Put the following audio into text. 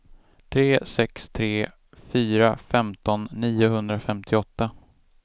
tre sex tre fyra femton niohundrafemtioåtta